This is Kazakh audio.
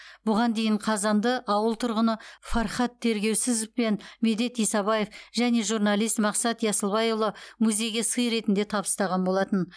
бұған дейін қазанды ауыл тұрғыны фархат тергеусізов пен медет исабаев және журналист мақсат ясылбайұлы музейге сый ретінде табыстаған болатын